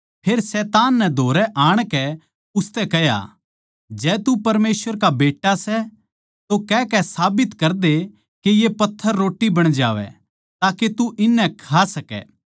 फेर शैतान नै धोरै आणकै उसतै कह्या जै तू परमेसवर का बेट्टा सै तो कहकै साबित करदे के ये पत्थर रोट्टी बण जावै ताके तू इननै खा सकै